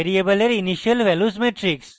ভ্যারিয়েবলের initial values matrix